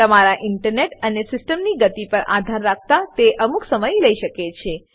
તમારા ઈન્ટરનેટ અને સીસ્ટમની ગતિ પર આધાર રાખતા તે અમુક સમય લઇ શકે છે